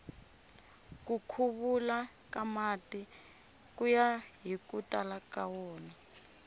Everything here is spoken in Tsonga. ku khuluka ka mati kuya hiku tala ka wona